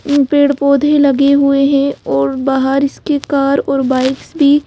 पेड़-पौधे लगे हुए हैं और बाहर इसके कार और बाइक्स भी --